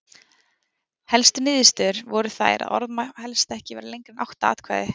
Helstu niðurstöður voru þær að orð má helst ekki vera lengra en átta atkvæði.